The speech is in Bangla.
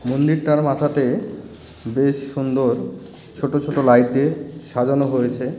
মন্দিরটার মাথাতে বেশ সুন্দর ছোট ছোট লাইট দিয়ে সাজানো হয়েছে .